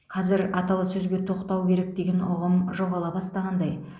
қазір аталы сөзге тоқтау керек деген ұғым жоғала бастағандай